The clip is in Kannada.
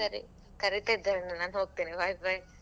ಸರಿ ಕರೀತಿದ್ದಾರೆ ನಾನ್ ಹೋಗ್ತೇನೆ bye bye .